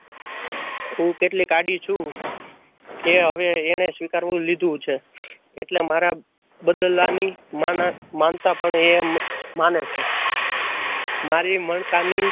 હું કેટલીક આડી છું. એ હવે એને સ્વીકારી લીધું છે એટલે મારા બદલાની માનતા પણ એ માને છે મારી મણકાની